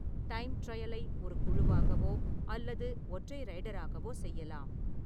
Time ட்ரையலை ஒரு குழுவாகவோ அல்லது ஒற்றை ரைடராகவோ செய்யலாம்.